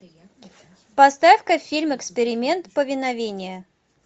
поставь ка фильм эксперимент повиновение